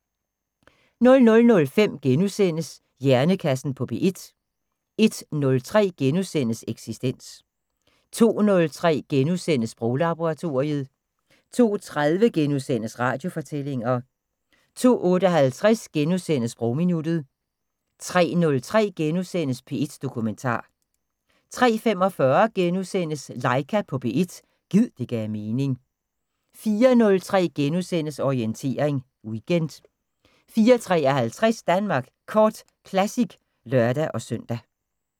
00:05: Hjernekassen på P1 * 01:03: Eksistens * 02:03: Sproglaboratoriet * 02:30: Radiofortællinger * 02:58: Sprogminuttet * 03:03: P1 Dokumentar * 03:45: Laika på P1 – gid det gav mening * 04:03: Orientering Weekend * 04:53: Danmark Kort Classic (lør-søn)